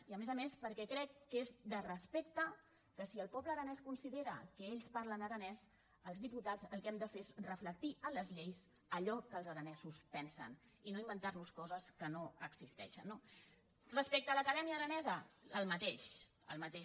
i a més a més perquè crec que és de res·pecte que si el poble aranès considera que ells parlen aranès els diputats el que hem de fer és reflectir en les lleis allò que els aranesos pensen i no inventar·nos co·ses que no existeixen no respecte a l’acadèmia aranesa el mateix el mateix